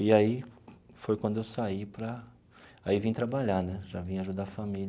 E aí foi quando eu saí para... Aí vim trabalhar né, já vim ajudar a família.